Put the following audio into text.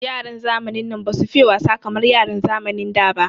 Yaran zamanin nan basu fiye wasa kamar yaran zamanin da ba.